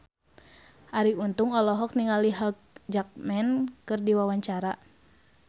Arie Untung olohok ningali Hugh Jackman keur diwawancara